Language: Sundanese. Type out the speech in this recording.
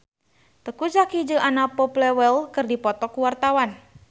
Teuku Zacky jeung Anna Popplewell keur dipoto ku wartawan